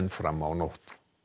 fram á nótt